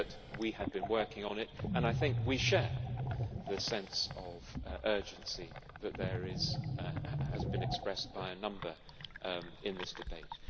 But we had been working on it, and I think we share the sense of urgency that has been expressed by a number in this debate.